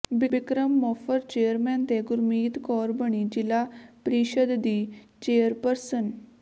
Bikram Mofar chairman ਤੇ ਗੁਰਮੀਤ ਕੌਰ ਬਣੀ ਜ਼ਿਲਾ ਪ੍ਰੀਸ਼ਦ ਦੀ ਚੇਅਰਪਰਸਨ